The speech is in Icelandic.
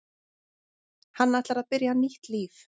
Hann ætlar að byrja nýtt líf.